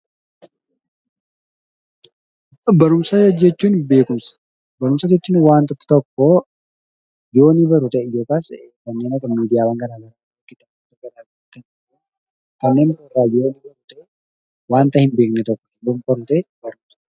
Barumsa jechuun beekumsa. Barumsa jechuun waanta tokko beekuu miidiyaa fa'aa irraa akkasumas kitaaba garaagaraa irraa waanta hin beekne tokko kan baran yoo ta'e, barumsa jennaan.